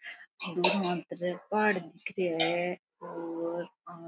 पहाड़ दिख रेहा है और --